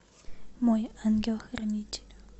мой ангел хранитель